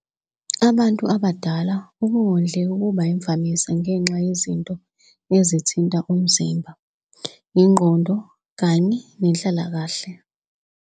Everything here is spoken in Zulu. Kubantu abadala ukungondleki kuba yimvamisa ngenxa yezinto ezithinta umzimba, ingqondo kanye nenhlalakahle.